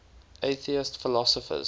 atheist philosophers